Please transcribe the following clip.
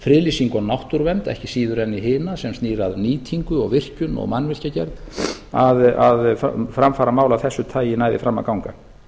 og náttúruvernd ekki síður en í hina sem snýr að nýtingu og virkjun og mannvirkjagerð að framfaramál af þessu tagi næði fram að ganga